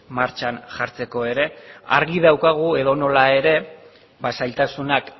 martxan jartzeko ere argi daukagu edonola ere ba zailtasunak